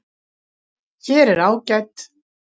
Hér er ágæt